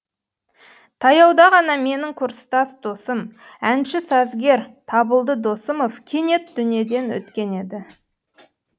таяуда ғана менің курстас досым әнші сазгер табылды досымов кенет дүниеден өткен еді